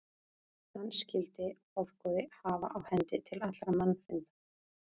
Hann skyldi hofgoði hafa á hendi til allra mannfunda.